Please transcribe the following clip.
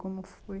Como foi?